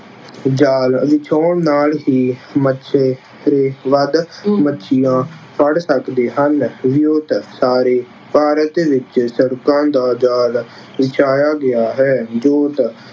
ਜਾਲ ਵਿਛਾਉਣ ਨਾਲ ਹੀ ਮਛੇਰੇ ਵੱਧ ਮੱਛੀਆਂ ਫੜ੍ਹ ਸਕਦੇ ਹਨ। ਵਿਉਂਤ- ਸਾਰੇ ਭਾਰਤ ਵਿੱਚ ਸੜਕਾਂ ਦਾ ਜਾਲ ਵਿਛਾਇਆ ਗਿਆ ਹੈ। ਜੋਤ-